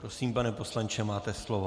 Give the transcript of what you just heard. Prosím, pane poslanče, máte slovo.